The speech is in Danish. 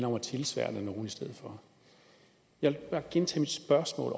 om at tilsværte nogen jeg vil bare gentage mit spørgsmål